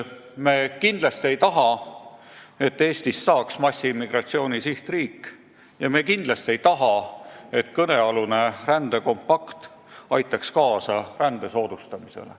Me kindlasti ei taha, et Eestist saaks massiimmigratsiooni sihtriik, ja me kindlasti ei taha, et kõnealune rändekompakt aitaks kaasa rände soodustamisele.